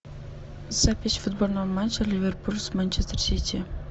запись футбольного матча ливерпуль с манчестер сити